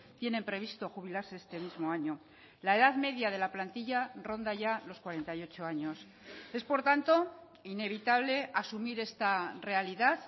tienen previsto jubilarse este mismo año la edad media de la plantilla ronda ya los cuarenta y ocho años es por tanto inevitable asumir esta realidad